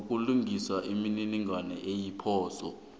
sokulungisa imininingwana eyiphoso